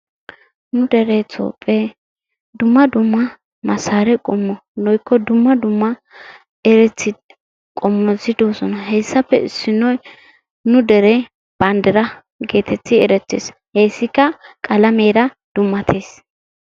Nu dere Toophe dumma dumma masare qommo woykko dumma dumma eretti qommoti doosona. heyssappe issinoy nu dere banddiraa getetti erettees. Hayssikka qalameera dummattees.